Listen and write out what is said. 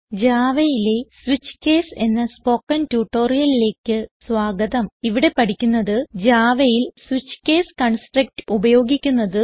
Javaയിലെ switch case എന്ന spoken ട്യൂട്ടോറിയലിലേക്ക് സ്വാഗതം ഇവിടെ പഠിക്കുന്നത് javaയിൽ സ്വിച്ച് കേസ് കൺസ്ട്രക്ട് ഉപയോഗിക്കുന്നത്